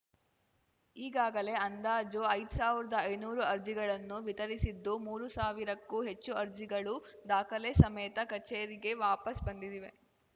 ಈಗಾಗಲೇ ಅಂದಾಜು ಐದ್ ಸಾವಿರ್ದಾ ಐನೂರು ಅರ್ಜಿಗಳನ್ನು ವಿತರಿಸಿದ್ದು ಮೂರು ಸಾವಿರಕ್ಕೂ ಹೆಚ್ಚು ಅರ್ಜಿಗಳು ದಾಖಲೆ ಸಮೇತ ಕಚೇರಿಗೆ ವಾಪಸ್‌ ಬಂದಿದೆವೆ